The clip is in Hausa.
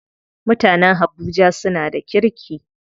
Mutanen habuja suna da kirki.